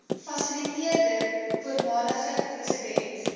fasiliteerder voormalige president